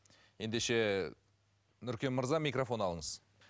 ендеше нұркен мырза микрофон алыңыз